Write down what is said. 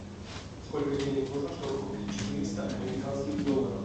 сколько денег нужно чтобы купить четыреста американских долларов